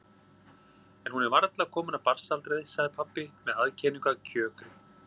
En hún er varla komin af barnsaldri, sagði pabbi með aðkenningu af kjökri.